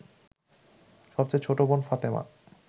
সবচেয়ে ছোট বোন ফাতেমা